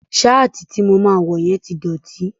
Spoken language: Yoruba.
Ṣáàtì to máa wọ yẹn ti dọ̀tí.